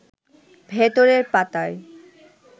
ভেতরের পাতায়